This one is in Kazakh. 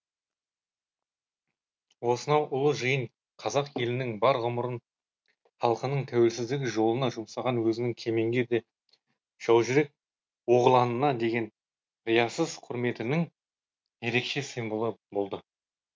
осынау ұлы жиын қазақ елінің бар ғұмырын халқының тәуелсіздігі жолына жұмсаған өзінің кемеңгер де жаужүрек оғланына деген риясыз құрметінің ерекше символы болды